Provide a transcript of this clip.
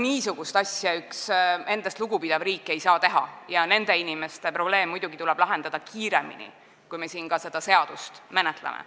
Niisugust asja ei saa üks endast lugupidav riik teha ja nende inimeste probleem tuleb siin muidugi lahendada selle seaduseelnõu menetlemisest kiiremini.